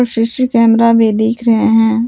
C C camera भी दिख रहे हैं।